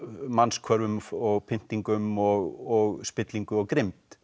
mannshvörfum og pyntingum og spillingu og grimmd